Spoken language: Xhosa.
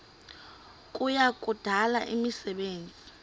kuya kudala imisebenzi